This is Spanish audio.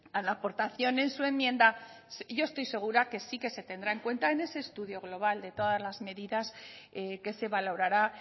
a la aportación en su enmienda yo estoy segura que sí que se tendrá en cuenta en ese estudio global de todas las medidas que se valorará